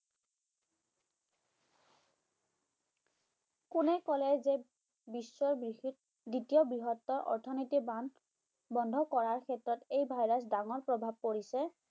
কোনে ক'লে যে বিশ্বৰ দ্বিতীয় বৃহত্তৰ অৰ্থনৈতিক বান্ধ বন্ধ কৰাৰ ক্ষেত্ৰত এই virus ৰ ডাঙৰ প্ৰভাৱ পৰিছে?